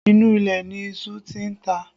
Inú ilẹ̀ ni iṣu tí ń ta